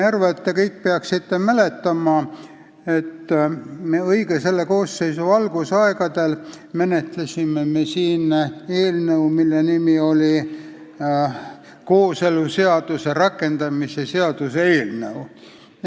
Te kõik peaksite mäletama, et päris selle koosseisu algusaegadel menetlesime me siin eelnõu, mille nimi oli kooseluseaduse rakendamise seaduse eelnõu.